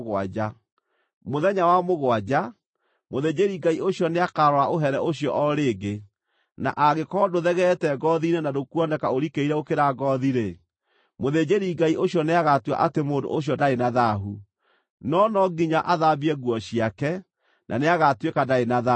Mũthenya wa mũgwanja, mũthĩnjĩri-Ngai ũcio nĩakarora ũhere ũcio o rĩngĩ, na angĩkorwo ndũthegeete ngoothi-inĩ na ndũkuoneka ũrikĩire gũkĩra ngoothi-rĩ, mũthĩnjĩri-Ngai ũcio nĩagatua atĩ mũndũ ũcio ndarĩ na thaahu. No no nginya athambie nguo ciake, na nĩagatuĩka ndarĩ na thaahu.